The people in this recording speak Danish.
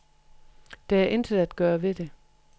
Der er intet at gøre ved det.